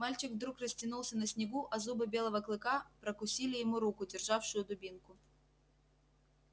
мальчик вдруг растянулся на снегу а зубы белого клыка ггрокусили ему руку державшую дубинку